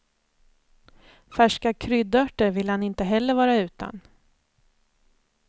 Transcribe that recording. Färska kryddörter vill han inte heller vara utan.